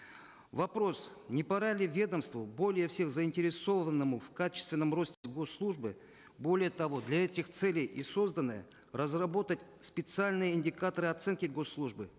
вопрос не пора ли ведомству более всех заинтересованному в качественном росте госслужбы более того для этих целей и созданы разработать специальные индикаторы оценки госслужбы